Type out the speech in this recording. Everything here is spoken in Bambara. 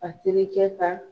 A terikɛ ka